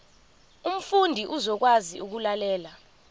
umfundi uzokwazi ukulalela